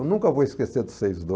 Eu nunca vou esquecer do seis